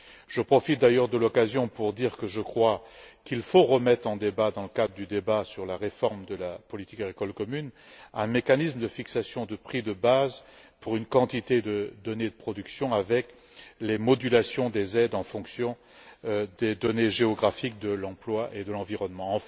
Je profite d'ailleurs de l'occasion pour dire qu'il faut réexaminer, à mon avis, dans le cadre du débat sur la réforme de la politique agricole commune, un mécanisme de fixation des prix de base pour un ensemble de données de production avec les modulations des aides en fonction des données géographiques, de l'emploi et de l'environnement.